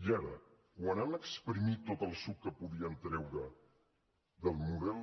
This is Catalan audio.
i ara quan han espremut tot el suc que podien treure del model